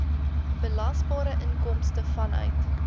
belasbare inkomste vanuit